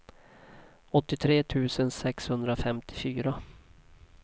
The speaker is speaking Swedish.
åttiotre tusen sexhundrafemtiofyra